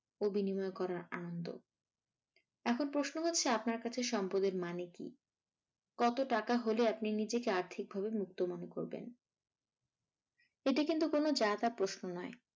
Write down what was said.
ও বিনিময় করা আনন্দ। এখন প্রশ্ন হচ্ছে আপনার কাছে সম্পদের মানে কি? কত টাকা হলে আপনি নিজেকে আর্থিক ভাবে মুক্ত মনে করবেন? এ টা কিন্তু কোনো যা-তা প্রশ্ন নয়।